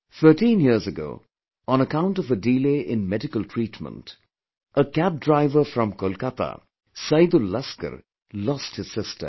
Thirteen years ago, on account of a delay in medical treatment, a Cab driver from Kolkata, Saidul Laskar lost his sister